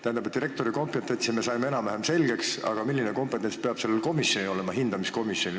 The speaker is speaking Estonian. Tähendab, direktori kompetentsi me saime enam-vähem selgeks, aga milline kompetents peab olema sellel hindamiskomisjonil?